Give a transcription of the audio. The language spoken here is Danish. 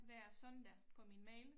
Hver søndag på min mail